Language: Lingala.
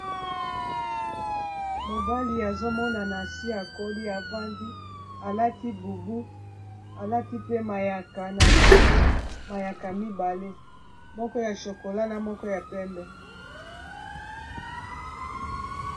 Mobali azomonana si akoli afandi alati bubu alati pe mayaka na kingo mayaka mibale moko ya chokola na moko ya pembe.